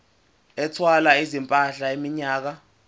ethwala izimpahla iminyaka